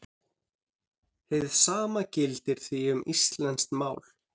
Hið sama gildir því um íslenskt mál.